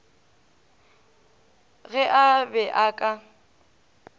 ge a be a ka